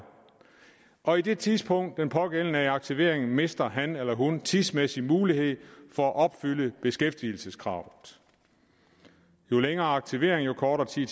og i det tidsrum pågældende er i aktivering mister han eller hun tidsmæssig mulighed for at opfylde beskæftigelseskravet jo længere aktivering jo kortere